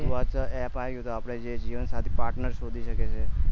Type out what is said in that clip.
એની વાત તો app યી છે તો જીવન સાથી partner શોધી શકીએ છીએ